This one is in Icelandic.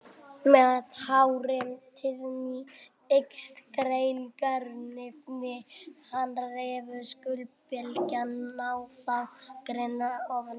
Með hárri tíðni eykst greiningarhæfnin, en rafsegulbylgjurnar ná þá grynnra ofan í jörðina.